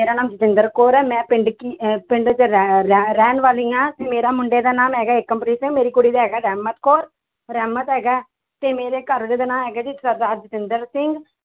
ਮੇਰਾ ਨਾਮ ਜਤਿੰਦਰ ਕੌਰ ਹੈ ਮੈਂ ਪਿੰਡ ਕੀ ਅਹ ਪਿੰਡ 'ਚ ਰਹਿ~ ਰਹਿ~ ਰਹਿਣ ਵਾਲੀ ਹਾਂ ਤੇ ਮੇਰਾ ਮੁੰਡੇ ਦਾ ਨਾਮ ਹੈਗਾ ਏਕਮਪ੍ਰੀਤ ਮੇਰੀ ਕੁੜੀ ਦਾ ਹੈਗਾ ਰਹਿਮਤ ਕੌਰ ਰਹਿਮਤ ਹੈਗਾ ਹੈ ਤੇ ਮੇਰੇ ਘਰ ਵਾਲੇ ਦਾ ਨਾਂ ਹੈਗਾ ਜੀ ਸਰਦਾਰ ਜਤਿੰਦਰ ਸਿੰਘ l